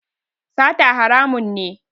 Sata haramun ne